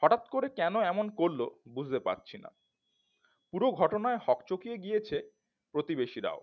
হঠাৎ করে কেন এমন করলো বুঝতে পারছি না পুরো ঘটনায় হকচোকিয়ে গিয়েছে প্রতিবেশীরাও